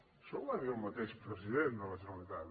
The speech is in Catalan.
això ho va dir el mateix president de la generalitat